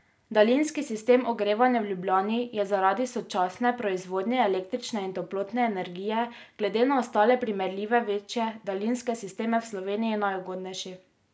Daljinski sistem ogrevanja v Ljubljani je zaradi sočasne proizvodnje električne in toplotne energije glede na ostale primerljive večje daljinske sisteme v Sloveniji najugodnejši.